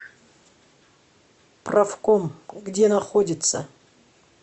профком где находится